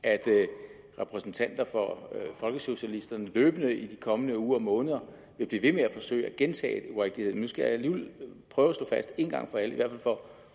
at repræsentanter for folkesocialisterne løbende i de kommende uger og måneder vil blive ved med at forsøge at gentage urigtigheden skal jeg alligevel prøve at slå fast en gang for alle i hvert fald for